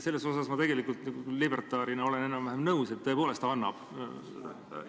Sellega ma libertaarina olen enam-vähem nõus: tõepoolest annab.